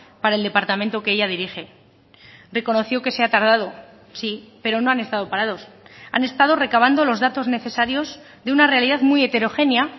para el departamento que ella dirige reconoció que se ha tardado sí pero no han estado parados han estado recabando los datos necesarios de una realidad muy heterogénea